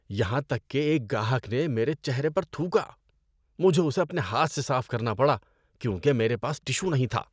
یہاں تک کہ ایک گاہک نے میرے چہرے پر تھوکا۔ مجھے اسے اپنے ہاتھ سے صاف کرنا پڑا کیونکہ میرے پاس ٹشو نہیں تھا۔